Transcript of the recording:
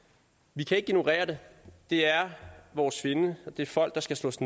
vi kan ikke ignorere det det er vores fjende det er folk der skal slås